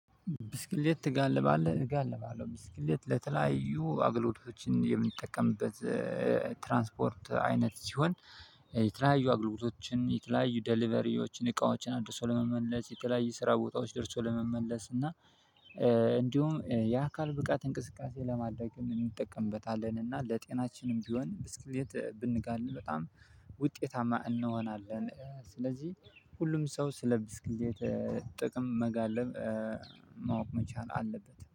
ብስክሌት ትጋልባለህ? እጋልባለሁ ብስክሌት ለተለያዩ አገልግሎቶችን የምጠቀምበት ትራንስፖርት አይነት ሲሆን የተለያዩ አገልግሎቶችን የተለያዩ ዴሊቨሪዎችን እቃዎችን አድርሶ ለመመለስ የተለያየ ስራ ቦታዎች ደርሶ ለመመለስ እና እንዲሁም የአካል ብቃት እንቅስቃሴ ለማድረግ እንጠቀምበታለን። እና ለጤናችንም ቢሆን ብስክሌት ብንጋልብ በጣም ውጤታማ እንሆናለን። ስለዚህ ሁሉም ሰው ስለ ብስክሌት ጥቅም መጋለብ ማወቅ መቻል አለበት